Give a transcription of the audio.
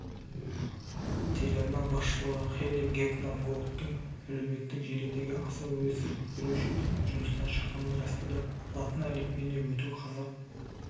телеарна басшылығыхэйли гефтман-голдтың әлеуметтік желідегі аса өрескел пікірі үшін жұмыстан шыққанын растады латын әліпбиіне өту қазақ